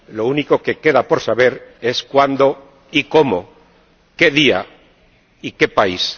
Lo único que queda por saber es cuándo y cómo, qué día y qué país.